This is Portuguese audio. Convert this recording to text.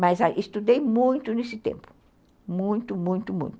Mas estudei muito nesse tempo, muito, muito, muito.